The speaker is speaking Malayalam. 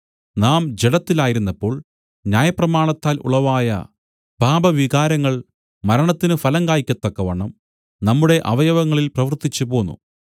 നാം ജഡത്തിലായിരുന്നപ്പോൾ ന്യായപ്രമാണത്താൽ ഉളവായ പാപവികാരങ്ങൾ മരണത്തിന് ഫലം കായ്ക്കത്തക്കവണ്ണം നമ്മുടെ അവയവങ്ങളിൽ പ്രവൃത്തിച്ചുപോന്നു